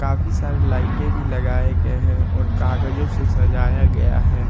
काफी सारे लाइटें भी लगाए गए हैं और कागजों से सजाया गया है।